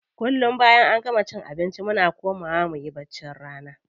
Kullum da bayan an gama cin abinci muna komawa muyi baccin rana.